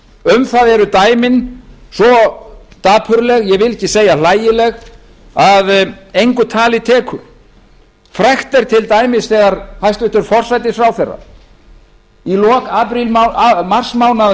um það eru dæmin svo dapurleg ég vil ekki segja hlægileg að engu tali tekur frægt er til dæmis þegar hæstvirtur forsætisráðherra sagði í lok marsmánaðar